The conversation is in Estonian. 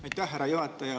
Aitäh, härra juhataja!